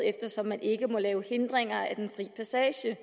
eftersom man ikke må lægge hindringer for den frie passage